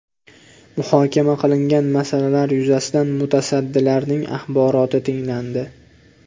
Muhokama qilingan masalalar yuzasidan mutasaddilarning axboroti tinglandi.